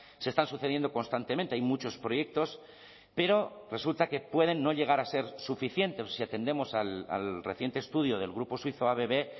se están sucediendo constantemente hay muchos proyectos pero resulta que pueden no llegar a ser suficientes si atendemos al reciente estudio del grupo suizo abb